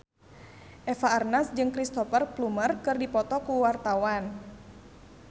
Eva Arnaz jeung Cristhoper Plumer keur dipoto ku wartawan